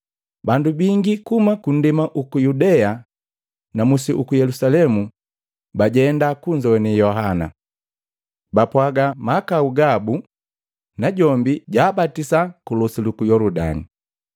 Bandu bingi kuhuma kundema uku Yudea na musi uku Yelusalemu bajenda kunzowane Yohana. Bapwaga mahakau gabu, najombi jaabatisa ku losi luku Yoludani.